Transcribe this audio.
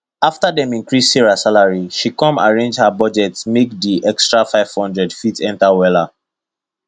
after dem increse sarah salary she com arrange her budget make di extra 500 fit enter wella